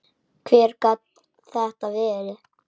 Hver gat þetta verið?